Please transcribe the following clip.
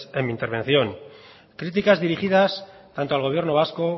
en mi intervención críticas dirigidas tanto al gobierno vasco